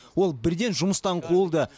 ол бірден жұмыстан қуылды